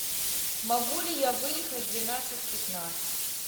могу ли я выехать в двенадцать пятнадцать